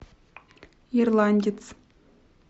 ирландец